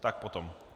Tak potom.